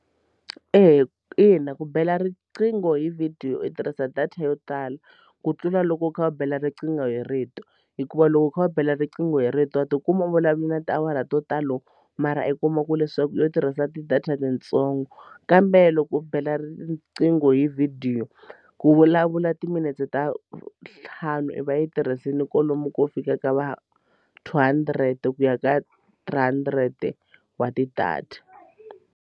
Eya ina ku bela riqingho hi vhidiyo u tirhisa data yo tala ku tlula loko u kha va bela riqingho hi rito hikuva loko u kha va bela riqingho hi rito wa tikuma u vulavula na tiawara to talo mara i kuma ku leswaku yo tirhisa ti data tintsongo kambe loko u bela riqingho hi vhidiyo ku vulavula timinete ta ntlhanu i va i yi tirhisile kwalomu ko fika ka va two hundred ku ya ka three hundred wa ti-data.